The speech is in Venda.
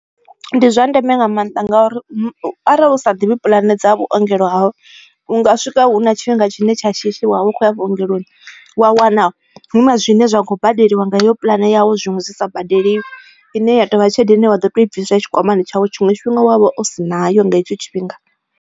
Ndi zwa ndeme nga maanḓa ngori arali u sa ḓivhi puḽane dza vhuongelo hau unga swika hu na tshifhinga tshine tsha shishi wavha ukho ya vhuongeloni wa wana hu na zwine zwa kho badeliwa nga iyo puḽane yau zwiṅwe zwi sa badeliwi, ine ya tovha tshelede ine wa ḓo to i bviswa tshikwamani tshawe tshiṅwe tshifhinga wavha u si nayo nga hetsho tshifhinga.